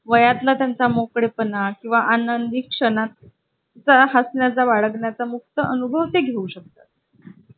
आणि तो सुद्धा मला विकायचा आहे